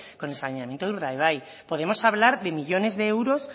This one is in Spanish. con el saneamiento de urdaibai podemos hablar de millónes de euros